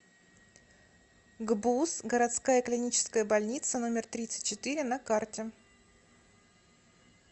гбуз городская клиническая больница номер тридцать четыре на карте